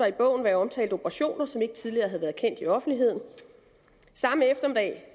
i bogen være omtalt operationer som ikke tidligere havde været kendt i offentligheden samme eftermiddag